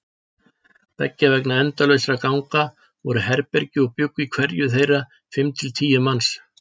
Beggja vegna endalausra ganga voru herbergi og bjuggu í hverju þeirra fimm til tíu manns.